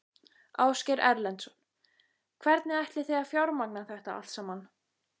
Ásgeir Erlendsson: Hvernig ætlið þið að fjármagna þetta allt saman?